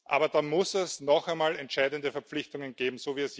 Aber dann muss es noch einmal entscheidende Verpflichtungen geben.